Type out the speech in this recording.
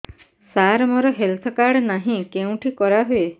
ସାର ମୋର health card ନାହିଁ କେଉଁଠି କରା ହୁଏ